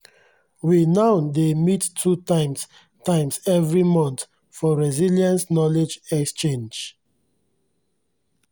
we now dey mit two times times every month for resilience knowledge exchange